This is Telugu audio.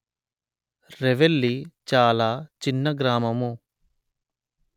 రెవెల్లి చాలా చిన్న గ్రామము